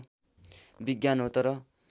विज्ञान हो तर